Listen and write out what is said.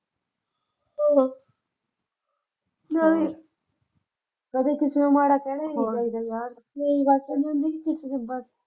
ਆਹੋ ਨਈਂ ਕਦੇ ਕਿਸੇ ਨੂੰ ਮਾੜਾ ਕਹਿਣਾ ਈ ਨਈਂ ਚਾਹੀਦਾ ਯਾਰ। ਮੈਂ ਇਸ ਕਰਕੇ ਕਿਸੇ ਨਈਂ .